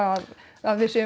að að við